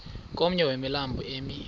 komnye wemilambo emi